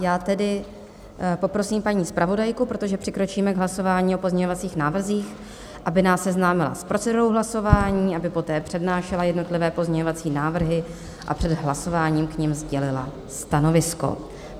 Já tedy poprosím paní zpravodajku, protože přikročíme k hlasování o pozměňovacích návrzích, aby nás seznámila s procedurou hlasování, aby poté přednášela jednotlivé pozměňovací návrhy a před hlasováním k nim sdělila stanovisko.